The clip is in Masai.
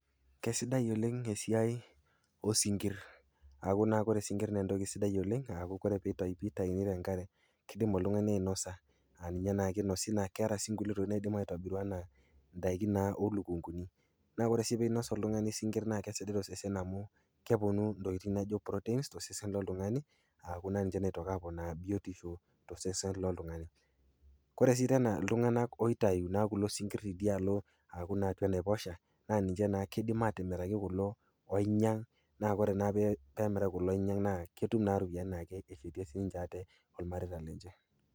Kesidai oleng' esiai oo sinkir akuu naa ore sinkir naa entoki sidai oleng' aaku ore pee itayuni tenkare, kiidim oltungani ainosa aa ninye inosi, keeta sii kulie tokitin naidim aitobiru aa indaikin oo lukunkuni. Naa ore sii pinos oltungani isinkirr naa kesidan tosesen amu keponu intokitin naijo protein tosesen loltungani aaku ninje naaku biotisho tosesen loltungani kure sii tena iltunganak loitayu kulo sinkiri tidialo aaku naake enaiposha, naa ninje naake kiidim atimir atimiraki kulo oinyiank, ore naa peemiraki kulo loinyiank naa ketum naa ropiyiani naa keretie sininye ate olmareita lenye.